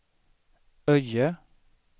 Öje